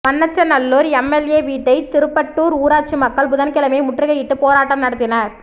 Manachanallur MLA வீட்டை திருப்பட்டூா் ஊராட்சி மக்கள் புதன்கிழமை முற்றுகையிட்டு போராட்டம் நடத்தினா்